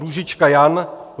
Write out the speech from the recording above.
Růžička Jan